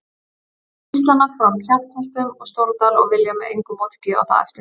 Gíslana frá Kjarnholtum og Stóradal og vilja með engu móti gefa það eftir.